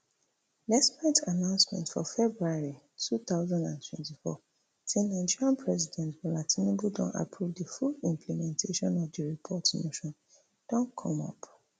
despite announcement for february two thousand and twenty-four say nigeria president bola tinubu don approve di full implementation of di report notin don come up